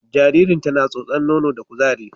Jaririnta na tsotsar nono da kuzari